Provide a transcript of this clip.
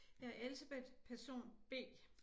Jeg er Elsebeth person B